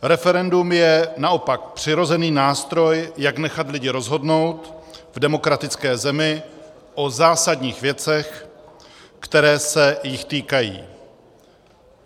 Referendum je naopak přirozený nástroj, jak nechat lidi rozhodnout v demokratické zemi o zásadních věcech, které se jich týkají.